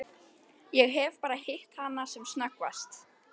Ég hef bara hitt hana sem snöggvast.